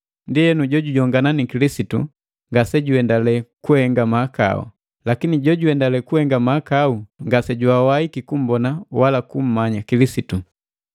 Ndienu, jojujongana ni Kilisitu ngasejuhendale kuhenga mahakau. Lakini jojuendale kuhenga mahakau ngase jwawaiki kummbona wala kumanya Kilisitu.